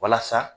Walasa